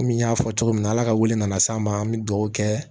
Komi n y'a fɔ cogo min na ala ka wuli n'an se an ma an bɛ dugawu kɛ